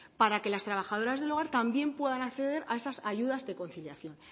para que las trabajadoras del hogar también puedan acceder a esas ayudas de conciliación